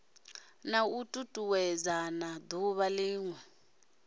na u tutuwedzana duvha linwe